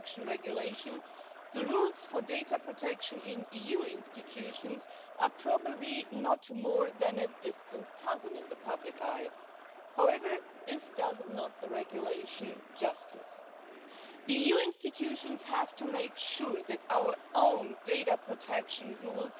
sum up, with the regulation for data protection in EU institutions, we are taking another important step towards ensuring fundamental rights in the